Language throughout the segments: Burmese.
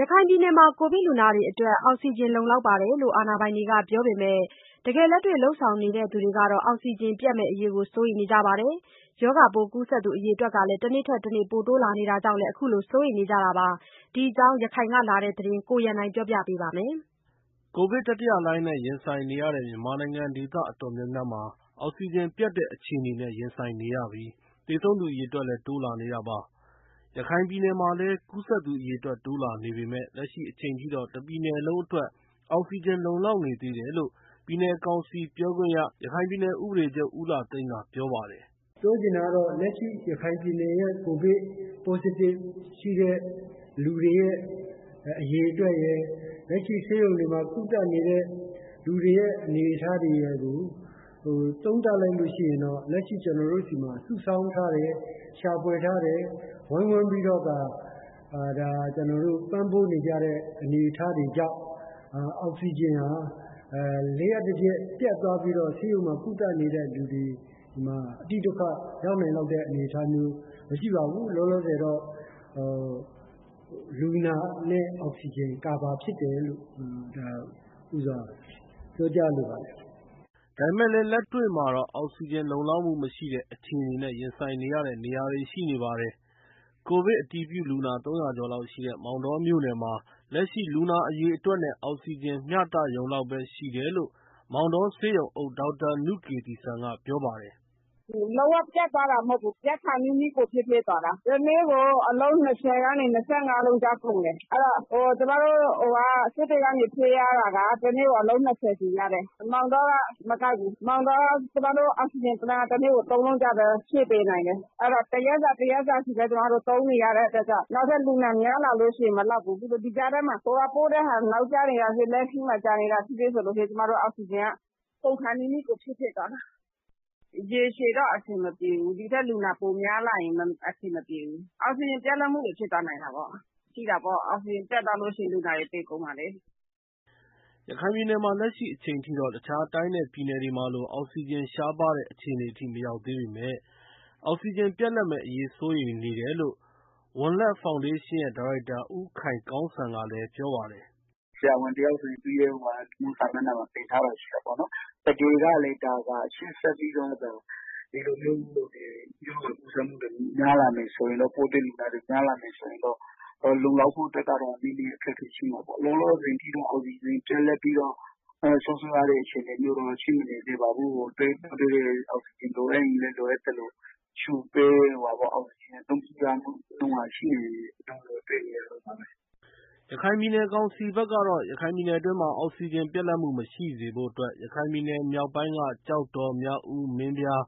ရခိုင်ပြည်နယ်မှာ ကိုဗစ်လူနာတွေအတွက် အောက်ဆီဂျင်လုံလောက်တယ်လို့ အာဏာပိုင်တွေကပြောပေမယ့် လက်တွေ့လုပ်ဆောင်နေသူတွေကတော့ အောက်ဆီဂျင်ပြတ်မယ့်အရေး စိုးရိမ်နေကြပါတယ်။ ရောဂါပိုးကူးစက်သူအရေအတွက် တနေ့ထက်တနေ့ တိုးလာနေတာကြောင့်လည်း အခုလို စိုးရိမ်နေကြတာပါ။ ဒီအကြောင်း ရခိုင်ကလာတဲ့သတင်းကို ကိုရန်နိုင်ကပြောပြပါမယ်။ ကိုဗစ်တတိယလှိုင်းနဲ့ ရင်ဆိုင်နေရတဲ့ မြန်မာနိုင်ငံ ဒေသအတော်များများမှာ အောက်ဆီဂျင်ပြတ်တဲ့ အခြေအနေနဲ့ ရင်ဆိုင်နေရပြီး သေဆုံးသူအရေအတွက်လည်း တိုးလာနေတာပါ။ ရခိုင်ပြည်နယ်မှာလည်း ကူးစက် သေဆုံးသူအရေအတွက် တိုးလာနေပေမယ့် လက်ရှိအချိန်ထိတော့ တပြည်နယ်လုံးအတွက် အောက်ဆီဂျင်လုံလောက်နေသေးတယ်လို့ ပြည်နယ်ကောင်စီပြောခွင့်ရ ရခိုင်ပြည်နယ် ဥပဒေချုပ် ဦးလှသိန်းကပြောပါတယ်။ “ပြောချင်တာကတော့ လက်ရှိ ရခိုင်ပြည်နယ်ရဲ့ ကိုဗစ်ပိုးတွေ့တဲ့ လူနာအရေအတွက်ရယ် လက်ရှိဆေးရုံတွေမှာ ကုသနေတဲ့ လူတွေရဲ့အနေအထားတွေကို သုံးသပ်လိုက်လို့ရှိရင်တော့ ကျနော်တို့ဆီမှာ စုဆောင်းထားတဲ့ ရှာဖွယ်ထားတဲ့ ဝိုင်းဝန်းပြီးတော့ ပံ့ပိုးနေကြတဲ့ အနေအထားတွေကြောင့် အောက်ဆီဂျင်ဟာ လျှပ်တပျက် ပြတ်သွားပြီးတော့ ဆေးရုံတွေမှာ ကုသနေတဲ့လူတွေမှာ အတိဒုက္ခရောက်နိုင်လောက်တဲ့ အနေအထားမရှိပါဘူး။ လောလောဆယ်တော့ လူနာနဲ့ အောက်ဆီဂျင် ကာဗာဖြစ်တယ်လို့ ပြောကြားလိုပါတယ်။” ဒါပေမယ့်လည်း လက်တွေ့မှာတော့ အောက်ဆီဂျင်လုံလောက်မှုမရှိတဲ့ အခြေအနေနဲ့ ရင်ဆိုင်နေရတဲ့နေရာတွေ ရှိနေပါတယ်။ ကိုဗစ်အတည်ပြုလူနာ ၃၀၀ ကျော်လောက်ရှိတဲ့ မောင်တောမြို့နယ်မှာ လက်ရှိ လူနာအရေအတွက်နဲ့ အောက်ဆီဂျင် မျှတရုံလောက်ပဲ ရှိတယ်လို့ မောင်တောဆေးရုံအုပ် ဒေါက်တာနုကေသီစံကပြောပါတယ်။ “လုံးဝပြတ်သွားတာ မဟုတ်ဘူး၊ ပြတ်ခါနီးနီးကို ဖြစ်သွားတာ။ တနေ့ကို အောက်ဆီဂျင်အလုံး ၂၀ ကနေ ၂၅ လုံးကြားကုန်တယ်။ ကျမတို့ စစ်တွေကနေ ဖြည့်ရတာက တနေ့ကို အလုံး၂၀ စီရတယ်။ မောင်တောက မကိုက်ဘူး၊ မောင်တောက အောက်ဆီဂျင် တနေ့ကို သုံးလုံးပဲ ဖြည့်ပေးနိုင်တယ်။ အဲတော့ တရက်စာ တရက်စာစီပဲ ကျမတို့ သုံးနေရတဲ့အတွက်ကြောင့် နောက်ထပ်လူနာများလာလို့ရှိရင် မလောက်ဘူး။ ဒီကြားထဲ ဟိုကပို့တဲ့ဟာ နောက်ကျနေတာဖြစ်ဖြစ် လမ်းခရီးမှာ ကြာနေတာဖြစ်ဖြစ်ဆိုရင် ကျမတို့ အောက်ဆီဂျင်က ကုန်ခါနီးနီးကို ဖြစ်ဖြစ်သွားတာ။ ရေရှည်တော့ အဆင်မပြေဘူး။ ဒီထက် လူနာပိုများလာရင် အဆင်မပြေဘူး။ အောက်ဆီဂျင်ပြတ်လပ်တာတွေ ဖြစ်သွားနိုင်တာပေါ့။ ဆိုတော့ အောက်ဆီဂျင် ပြတ်သွားလို့ရှိရင်လူနာတွေ သေကုန်မှာလေ။” ရခိုင်ပြည်နယ်မှာ လက်ရှိအချိန်ထိတော့ တခြားတိုင်းနဲ့ပြည်နယ်တွေမှာလို အောက်ဆီဂျင် ရှားပါးတဲ့ အခြေအနေထိ မရောက်သေးပေမယ့် အောက်ဆီဂျင်ပြတ်လပ်မယ့်အရေး စိုးရိမ်နေတယ်လို့ ဝံလက်ဖောင်ဒေးရှင်ဒေါက်ရိုက်တာ ဦးခိုင်ကောင်းစံကလည်းပြောပါတယ်။ "ဆရာဝန်တယောက်ဆိုရင် သူ့ရဲ့လူမှုစာမျက်နှမှာ တင်ထားတာ ရှိတာပေါ့နော်။ တကယ်လို့ ရှေ့ဆက်ပြီး ရောဂါ ကူးစက်မှုတွေ များလာမယ်ဆိုရင်တော့ လုံလောက်ဖို့အတွက်ကတော့ နည်းနည်းအခက်အခဲရှိမှာပေါ့။ လောလောဆယ်အထိတော့ အောက်ဆီဂျင် ပြတ်လပ်ပြီးတော့ ဆုံးရှုံးရတဲ့အခြေအနေမျိုးတော့ ရှိမနေသေးပါဘူး။ အောက်ဆီဂျင် လိုအပ်ရင်လည်း လိုအပ်သလို လုပ်ပေးနေတာကိုတော့ တွေ့ရပါတယ်။" ရခိုင်ပြည်နယ်ကောင်စီဘက်ကတော့ ရခိုင်ပြည်နယ်အတွင်းမှာ အောက်ဆီဂျင်ပြတ်လပ်မှု မရှိစေဖို့အတွက် ရခိုင်မြောက်ပိုင်းက ကျောက်တော်၊ မြောက်ဦး၊ မင်းပြား၊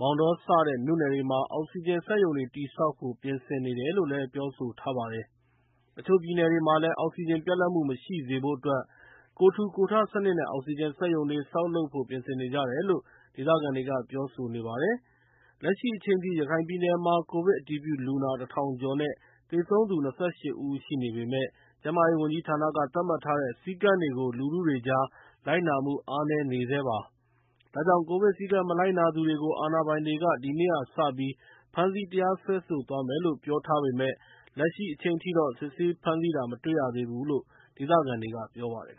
မောင်တော စတဲ့မြို့နယ်တွေမှာ အောက်ဆီဂျင်စက်ရုံတွေတည်ဆောက်ဖို့ ပြင်ဆင်နေတယ်လို့ လည်းပြောဆိုထားပါတယ်။ တချို့မြို့နယ်တွေမှာလည်း အောက်ဆီဂျင်ပြတ်လပ်မှု မရှိစေဖို့အတွက် ကိုယ်ထူကိုယ်ထစနစ်နဲ့ အောက်ဆီဂျင်စက်ရုံတွေ ဆောက်လုပ်ဖို့ ပြင်ဆင်နေကြတယ်လို့ လည်း ဒေသခံတွေက ပြောဆိုကြပါတယ်။ လက်ရှိအချိန်ထိ ရခိုင်ပြည်နယ်မှာ ကိုဗစ်အတည်ပြုလူနာ ၁,၀၀၀ ကျော်နဲ့ သေဆုံးသူ ၂၈ ဦးအထိ ရှိနေပေမယ့် ကျန်းမာရေးဝန်ကြီးဌာနက သတ်မှတ်ထားတဲ့ စည်းကမ်းတွေကို လူထုတွေကြား လိုက်နာမှုအားနည်းနေဆဲပါ။ ဒါကြောင့် ကိုဗစ်စည်းကမ်း မလိုက်နာသူတွေကို အာဏာပိုင်တွေက ဒီကနေ့ကစပြီး ဖမ်းဆီးတရားစွဲဆိုသွားမယ်လို့ ပြောထားပေမယ့် လက်ရှိအချိန်ထိတော့ စစ်ဆေးဖမ်းဆီးတာ မတွေ့သေးဘူးလို့ ဒေသခံတွေကပြောပါတယ်